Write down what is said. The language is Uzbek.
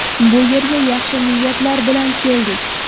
Bu yerga yaxshi niyatlar bilan keldik.